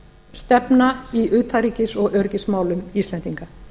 stefna í utanríkis og öryggismálum íslendinga